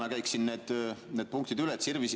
– käiksin need punktid üle.